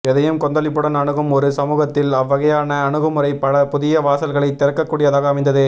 எதையும் கொந்தளிப்புடன் அணுகும் ஒரு சமூகத்தில் அவ்வகையான அணுகுமுறை பல புதிய வாசல்களை திறக்கக்கூடியதாக அமைந்தது